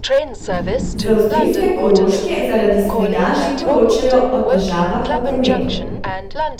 Z avstrijske Koroške zaradi snega že poročajo o težavah v prometu.